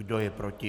Kdo je proti?